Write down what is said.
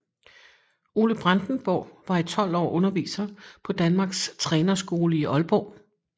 Ole Brandenborg var i 12 år underviser på Danmarks Trænerskole i Aalborg